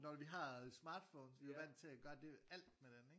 Når vi har smartphones vi er jo vandt til at gøre det alt med den ikke